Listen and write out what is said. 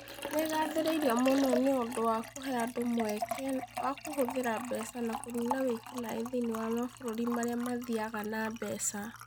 Nĩ ĩgaathĩrĩirio mũno nĩ ũndũ wa kũhe andũ mweke wa kũhũthĩra mbeca na kũniina wĩki-naĩ thĩinĩ wa mabũrũri marĩa mathiaga na mbeca.